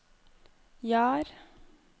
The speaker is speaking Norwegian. Jar